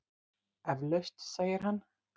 Eflaust, segir hann.